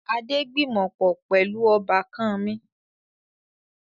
Adé gbìmọ̀pọ̀ pẹlu ọbákan mi